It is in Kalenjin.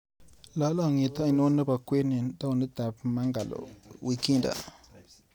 Lalang'iet anono nebo kwen eng taonitap Mangalore wikinda?